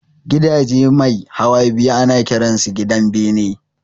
Gidaje mai hawa biyu ana kiran su gidan bene